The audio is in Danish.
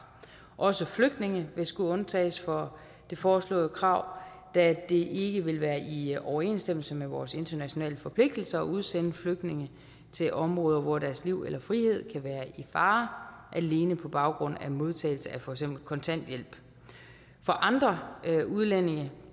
også flygtninge vil skulle undtages fra det foreslåede krav da det ikke vil være i overensstemmelse med vores internationale forpligtelser at udsende flygtninge til områder hvor deres liv eller frihed kan være i fare alene på baggrund af modtagelse af for eksempel kontanthjælp for andre udlændinge